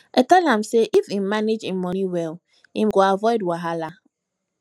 i tell am sey if im manage im money well im go avoid wahala